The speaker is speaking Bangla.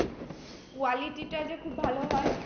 Quality টা যে খুব ভালো হয়।